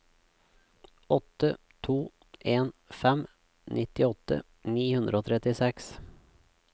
åtte to en fem nittiåtte ni hundre og trettiseks